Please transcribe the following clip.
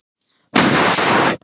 Leitin bar þó engan árangur.